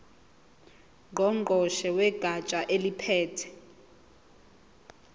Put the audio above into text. ngqongqoshe wegatsha eliphethe